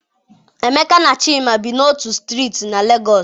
Emeka na Chima bi n'otu strịịtị na Lagos.